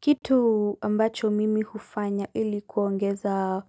Kitu ambacho mimi hufanya ili kuongeza